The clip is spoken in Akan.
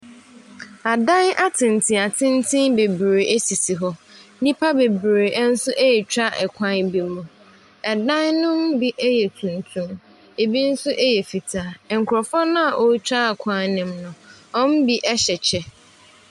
Adan atenten atenten bebree sisi hɔ, nnipa bebree nso ɛretwa kwa bi mu. Dan ne bi yɛ tuntum, bi nso yɛ fitaa. Nkurɔfo no a wɔretwa kwan ne mu no, wɔn mu bi hyɛ kyɛ.